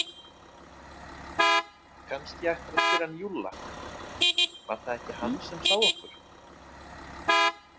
Kannski ættirðu að spyrja hann Júlla, var það ekki hann sem sá okkur?